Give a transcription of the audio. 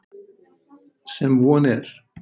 Sem von er.